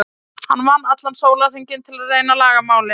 Hann vann allan sólarhringinn til að reyna að laga málin.